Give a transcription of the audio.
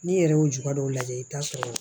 N'i yɛrɛ y'o juga dɔw lajɛ i bɛ t'a sɔrɔ